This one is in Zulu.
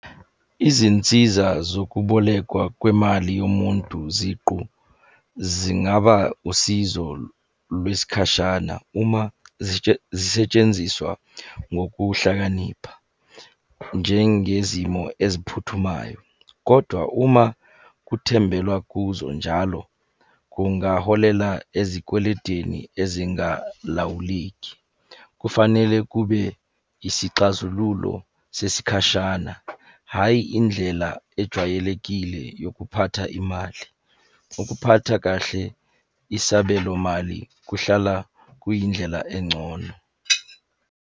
Izinsiza zokubolekwa kwemali yomuntu ziqu zingaba usizo lwesikhashana uma zisetshenziswa ngokuhlakanipha. Njengezimo eziphuthumayo, kodwa uma kuthembelwa kuzo njalo kungaholela ezikweletini ezingalawuleki. Kufanele kube isixazululo sesikhashana hhayi indlela ejwayelekile yokuphatha imali. Ukuphatha kahle isabelo mali kuhlala kuyindlela engcono.